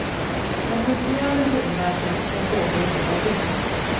Den pulserande huvudvärken kan pågå i flera dygn.